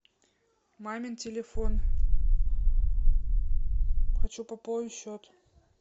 мамин телефон хочу пополнить счет